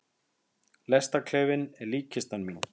Lestarklefinn er líkkistan mín.